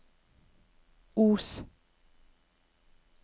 Os